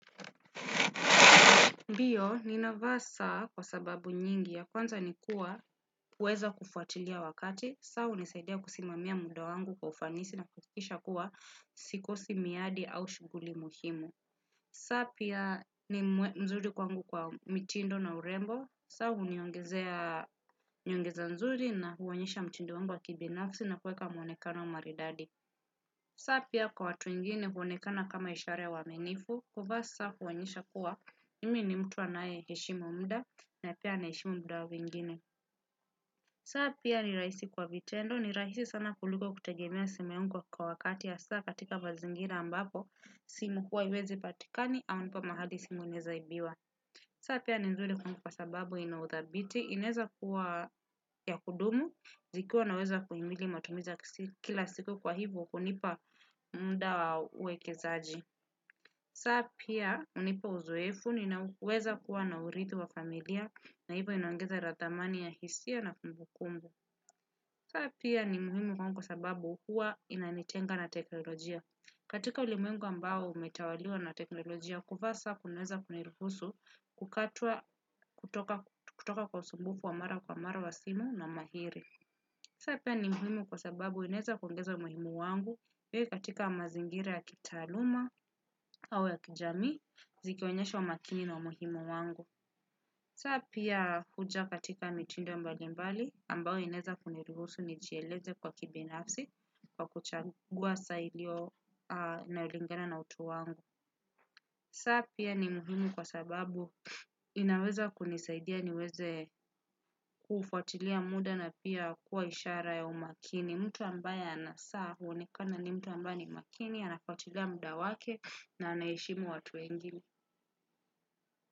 Ndiyo, ninava saa kwa sababu nyingi ya kwanza nikua, huweza kufuatilia wakati, saa hunisaidia kusimamia muda wangu kwa ufanisi na kuhakikisha kuwa sikosi miradi au shughuli muhimu. Saa pia ni mzuri kwangu kwa mtindo na urembo, saa huniongeza uzuri na huonyesha mtindo wangu wa kibinafsi na kuweka mwonekano wa maridadi. Saa pia kwa watu wengine huonekana kama ishara ya uaminifu, kuvaa saa huonyesha kuwa mimi ni mtu anayeheshimu muda na pia na heshimu muda wa wengine saa pia ni rahisi kwa vitendo ni rahisi sana kuliko kutegemea simu yangu kwa wakati hasa katika mazingira ambapo simu huwa haiwezi patikani ama uko mahali simu inawezaibiwa. Saa pia ni nzuri kuwangu kwa sababu inaudhabiti. Inaweza kuwa ya kudumu, zikiwa unaweza kuhimili matumiza ya kila siku kwa hivyo hunipa muda wa uwekezaji saa pia hunipa uzoefu ninaweza kuwa na uriti wa familia na hivo inoangeza thamani ya hisia na kumbukumbu saa pia ni muhimu kwangu kwa sababu huwa inanitenga na teknolojia katika ulimuengu ambao umetawaliwa na teknolojia kuvaa saa kunaweza kuniruhusu kukatwa kutoka kwa usumbufu wa mara kwa mara wa simu na mahiri. Saa pia ni muhimu kwa sababu inaweza kuongeza umuhimu wangu wewe katika mazingira ya kitaluma au ya kijamii zikionyesha umakini na umuhimu wangu. Saa pia huja katika mtindo mbalimbali ambayo inaweza kuniruhusu nijieleze kwa kibinafsi kwa kuchagua saa inalingana na utu wangu saa pia ni muhimu kwa sababu inaweza kunisaidia niweze kufuatili muda na pia huwa ishara ya umakini mtu ambaye anasaa, huonekana ni mtu ambaye ni makini, anafuatilia muda wake na anayeheshimu watu wengine.